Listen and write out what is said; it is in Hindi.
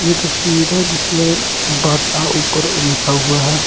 ये तस्वीर है जिसमे बाटा ऊपर लिखा हुआ है।